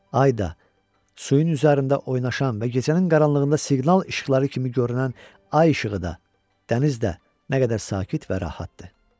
Ay da, suyun üzərində oynaşan və gecənin qaranlığında siqnal işıqları kimi görünən ay işığı da, dəniz də nə qədər sakit və rahatdı.